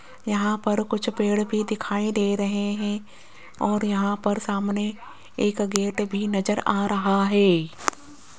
यहां पर कुछ पेड़ भी दिखाई दे रहे हैं और यहां पर सामने एक गेट भी नजर आ रहा है।